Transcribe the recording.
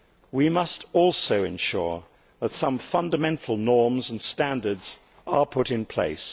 we must also ensure that some fundamental norms and standards are put in place.